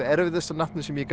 erfiðasta nafnið sem ég